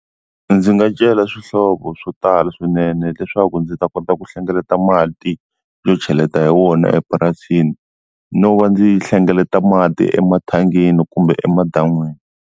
Ndzi nga cela swihlovo swo tala swinene leswaku ndzi ta kota ku hlengeleta mati yo cheleta hi wona epurasini no va ndzi hlengeleta mati emathangini kumbe emadan'wini.